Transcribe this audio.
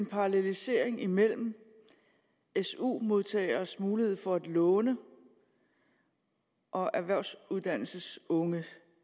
parallelisering imellem su modtageres mulighed for at låne og erhvervsuddannelsesunges